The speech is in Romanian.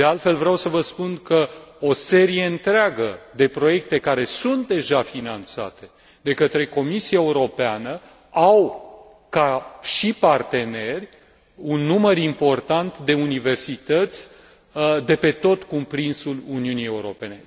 De altfel, vreau să vă spun că o serie întreagă de proiecte care sunt deja finanțate de către Comisia Europeană au ca și parteneri un număr important de universițăți de pe tot cuprinsul Uniunii Europene.